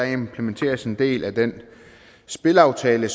implementeres en del af den spilaftale